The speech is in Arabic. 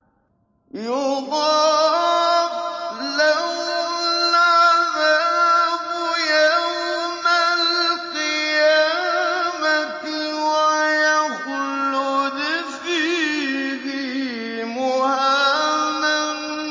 يُضَاعَفْ لَهُ الْعَذَابُ يَوْمَ الْقِيَامَةِ وَيَخْلُدْ فِيهِ مُهَانًا